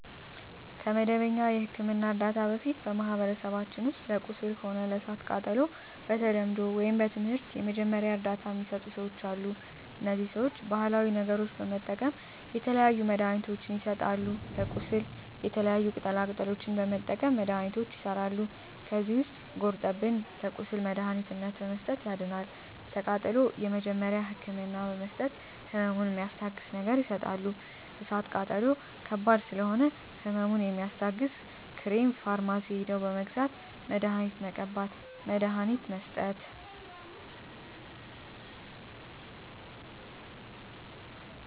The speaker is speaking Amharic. ከመደበኛ የሕክምና ዕርዳታ በፊት በማኀበረሰባችን ውስጥ ለቁስል ሆነ ለእሳት ቃጠሎው በተለምዶው ወይም በትምህርት የመጀመሪያ እርዳታ ሚሰጡ ሰዎች አሉ እነዚህ ሰዎች ባሀላዊ ነገሮች በመጠቀም የተለያዩ መድሀኒትችን ይሰጣሉ ለቁስል የተለያዩ ቅጠላ ቅጠሎችን በመጠቀም መድሀኒቶች ይሠራሉ ከዚህ ውስጥ ጉርጠብን ለቁስል መድሀኒትነት በመስጠት ያድናል ለቃጠሎ የመጀመሪያ ህክምና በመስጠት ህመሙን ሚስታግስ ነገር ይሰጣሉ እሳት ቃጠሎ ከባድ ስለሆነ ህመሙ የሚያስታግስ ክሬም ፈርማሲ ሄደው በመግዛት መድሀኒት መቀባት መድሀኒት መስጠት